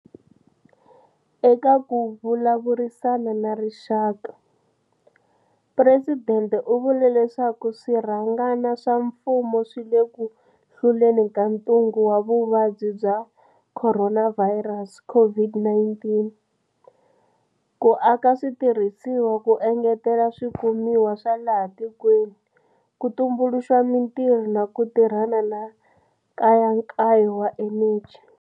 Eka ku vulavurisana na rixaka, Presidente u vule leswaku swirhangana swa mfumo swi le ku hluleni ka ntungu wa Vuvabyi bya Kho ronavhayirasi, COVID-19, ku aka switirhisiwa, ku engetela swikumiwa swa laha tikweni, ku tumbuluxa mitirho na ku tirhana na nkayakayo wa eneji.